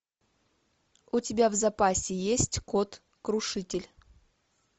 у тебя в запасе есть кот крушитель